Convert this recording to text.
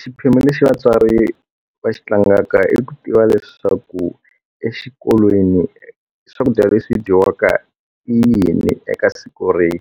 Xiphemu lexi vatswari va xi tlangaka i ku tiva leswaku exikolweni swakudya leswi dyiwaka i yini eka siku rero